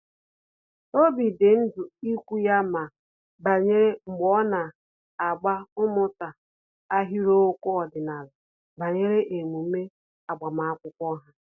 Óbì dị ndị ikwu ya mma banyere mbọ ọ na-agba ịmụta ahịrịokwu ọdịnala banyere emume agbamakwụkwọ ha